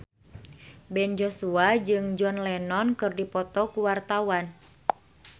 Ben Joshua jeung John Lennon keur dipoto ku wartawan